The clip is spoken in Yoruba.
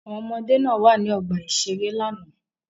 Àwọn ọmọdé náà wà ní ọgbà-ìṣeré lánàá.